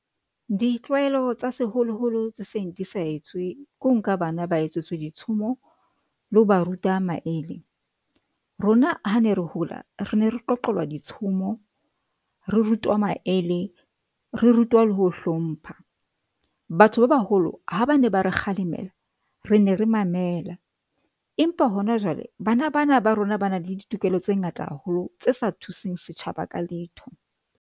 Ditlwaelo tsa seholoholo tse seng di sa etswe ke ho nka bana ba etsetswa ditshomo le ho ba ruta maele. Rona ha ne re hola re ne re qoqelwa ditshomo, re rutwa maele, re rutwa le ho hlompha. Batho ba baholo ha ba ne ba re kgalemela re ne re mamela, empa hona jwale bana bana ba rona ba na le ditokelo tse ngata haholo tse sa thuseng setjhaba ka letho.